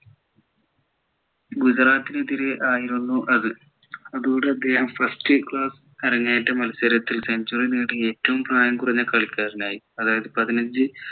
ഗുജറാത്തിനെതിരെ ആയിരുന്നു അത് അതോടെ അദ്ദേഹം first class അരങ്ങേറ്റ മത്സരത്തിൽ century നേടിയ ഏറ്റവും പ്രായം കുറഞ്ഞ കളിക്കാരനായി അതായത് പതിനഞ്ചു